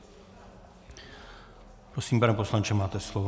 Prosím, pane poslanče, máte slovo.